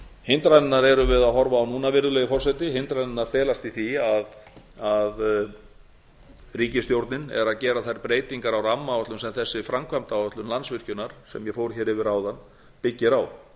hindranirnar erum við að horfa á núna virðulegi forseti hindranirnar felast í því að ríkisstjórnin er að gera þær breytingar á rammaáætlun sem þessi framvæmdaáætlun landsvirkjunar sem ég fór hér yfir áðan byggir á